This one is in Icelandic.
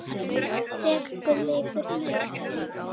Sumt stendur þó í stað.